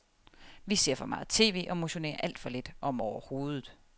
Vi ser for meget tv og motionerer alt for lidt, om overhovedet.